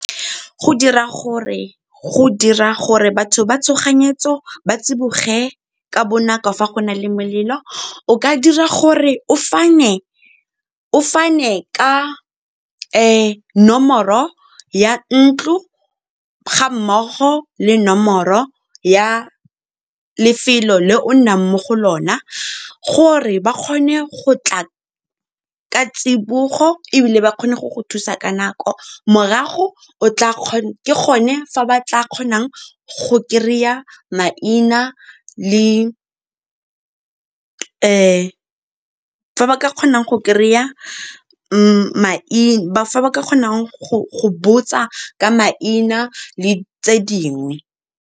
Go dira gore batho ba tshoganyetso ba tsiboge ka bonako fa go na le molelo, o ka dira gore o fane ka nomoro ya ntlo ga mmogo le nomoro ya lefelo le o nnang mo go lona, gore ba kgone go tla ka tsibogo ebile ba kgone go go thusa ka nako, morago ke gone fa ba ka kgonang go botsa ka maina le tse dingwe.